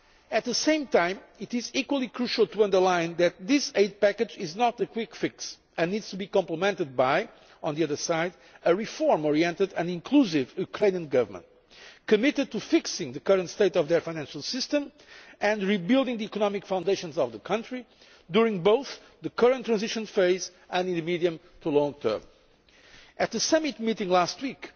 At the same time, it is equally crucial to underline that this aid package is not a quick fix and that it needs to be complemented by, on the other side, a reform oriented and inclusive Ukrainian government that is committed to fixing the current state of their financial system and rebuilding the economic foundations of the country both during the current transition phase and in the medium to long term. At the summit meeting last